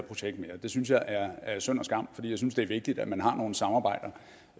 projekt mere det synes jeg er er synd og skam for jeg synes det er vigtigt at man har nogle samarbejder